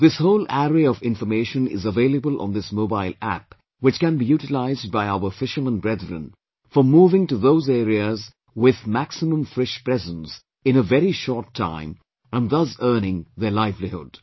This whole array of information is available on this mobile App which can be utilised by our fishermen brethren for moving to those areas with maximum fish presence in a very short time and thus earning their livelihood